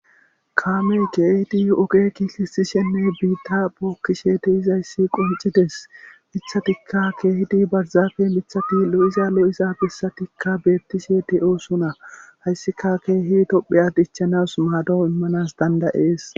Kaame keehidi oge giisishenne biitta bookkishe te izayssi qoncides mithatikka keehidi barzaafe mithati lo7iza lo7iza bissatikka beettishe de7oosuna hayssika keehi topheya dichchanas maadoo immanas dandayees.